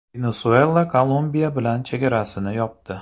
Venesuela Kolumbiya bilan chegarasini yopdi.